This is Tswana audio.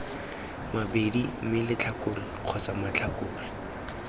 mabedi mme letlhakore kgotsa matlhakore